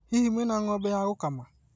Hihi mwĩna ng'ombe wa gũkama?